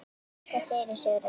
Hvað segir Sigurður Ragnar?